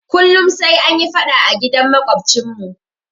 Kullum sai anyi faɗa a gidan maƙwabcinmu.